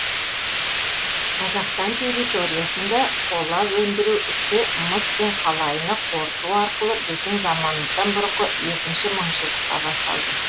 қазақстан территориясында қола өндіру ісі мыс пен қалайыны қорыту арқылы біздің заманымыздан бұрынғы екінші мыңжылдықта басталды